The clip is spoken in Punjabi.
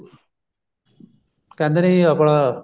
ਕਹਿੰਦੇ ਨੇ ਜੀ ਆਪਣਾ